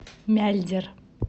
мяльдер